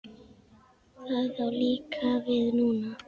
Það á líka við núna.